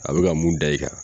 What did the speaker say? A bɛ ka mun da i kan.